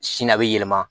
Sini a bɛ yɛlɛma